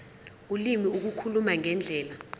ulimi ukukhuluma ngendlela